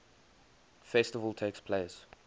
festival takes place